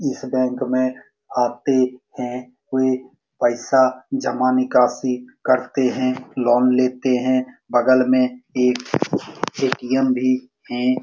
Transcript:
इस बेंक मे आते हैं । वे पैसा जमा निकासी करते हैं । लोन लेते हैं | बगल मे एक ए.टी.एम. भी है ।